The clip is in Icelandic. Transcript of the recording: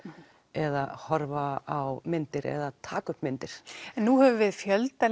eða horfa á myndir eða taka upp myndir nú höfum við fjölda